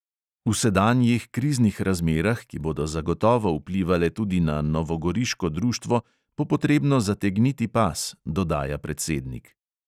V sedanjih kriznih razmerah, ki bodo zagotovo vplivale tudi na novogoriško društvo, bo potrebno zategniti pas, dodaja predsednik.